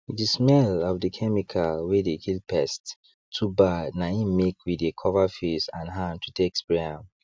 the smell of the chemical wey dey kill pests too bad na im make we dey cover face and hand to take spray am